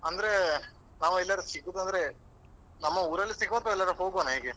ಅಂದ್ರೆ ನಾವು ಎಲ್ಲಿಯಾದ್ರೂ ಸಿಗುದಾದ್ರೆ ನಮ್ಮ ಊರಲ್ಲೇ ಸಿಗುವ ಅಥವಾ ಎಲ್ಲಿಯಾದರೂ ಹೋಗುವನ ಹೇಗೆ?